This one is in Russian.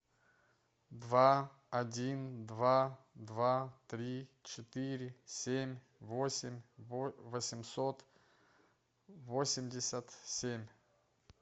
два один два два три четыре семь восемь восемьсот восемьдесят семь